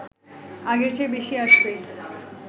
আগের চেয়ে বেশি আসবে